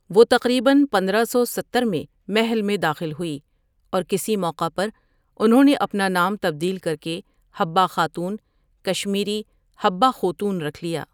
وہ تقریباََ پندرہ سو ستہر میں محل میں داخل ہوئی اور کسی موقع پر انھوں نے اپنا نام تبدیل کرکے حببہ خاتون کشمیری حبہٕ خوتوٗن رکھ لیا ۔